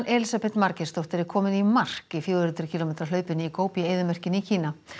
Elísabet Margeirsdóttir er komin í mark í fjögur hundruð kílómetra hlaupinu í eyðimörkinni í Kína